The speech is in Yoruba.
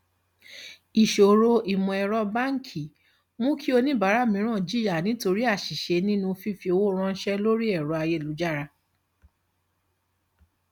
ìṣòro ìmọẹrọ báńkì mú kí oníbàárà mìíràn jìyà nítorí àṣìṣe nínú fífi owó ránṣẹ lórí ẹrọ ayélujára